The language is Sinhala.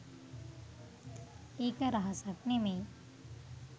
එක රහසක් නෙමෙයි.